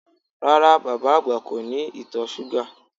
Rárá, bàbá àgbà kò ní ìtọ̀ súgà